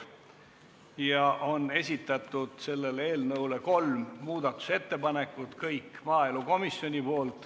Maaelukomisjon on esitanud selle eelnõu kohta kolm muudatusettepanekut.